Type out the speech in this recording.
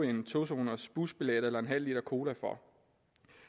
en to zoners busbillet eller en halv liter cola for